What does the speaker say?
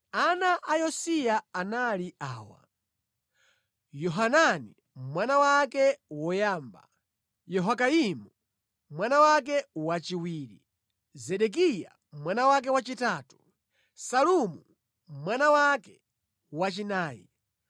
Ana a Yosiya anali awa: Yohanani mwana wake woyamba, Yehoyakimu mwana wake wachiwiri, Zedekiya mwana wake wachitatu, Salumu mwana wake wachinayi.